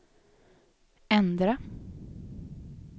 ändra